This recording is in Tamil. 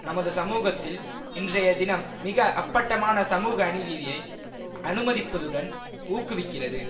நமது சமூகத்தில் இன்றையதினம் மிக அப்பட்டமான சமூக அநீதிதியை அனுமதிப்பதுடன் ஊக்குவிக்கிறது